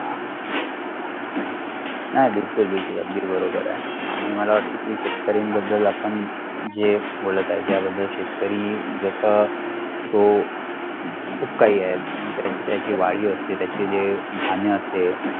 हा बिलकुल बिलकुल अगदी बरोबर आहे आणि मला वाटते की शेतकरीण बद्दल आपण जे बोलत आहे ज्या बद्दल शेतकरी जस तो खुप काही म्हणुन त्याची त्याची वाळी असते त्याची जे धान्य असते